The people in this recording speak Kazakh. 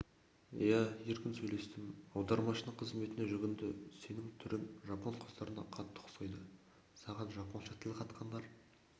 иә еркін сөйлестім аудармашының қызметіне жүгінді сенің түрің жапон қыздарына қатты ұқсайды саған жапонша тіл қатқандар